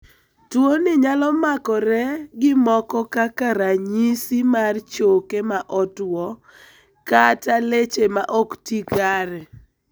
Tuoni nyalo makore gi moko kaka ranyisimar choke ma otuo kata keche ma ok ti kare.